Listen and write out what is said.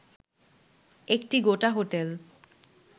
একটি গোটা হোটেল